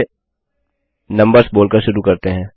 चलिए नम्बर्स बोल कर शुरु करते हैं